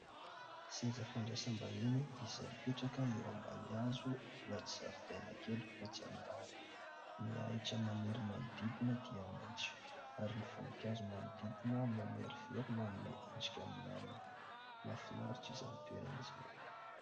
Seza fandraisam-bahiny izay mipetraka eo ambany hazo anaty zaridaina kely voajanahary. Ny ahitra maniry manodidina dia maitso ary ny voninkazo manodidina mamerovero manome endrika milamina. Mahafinaritra izany toerana izany.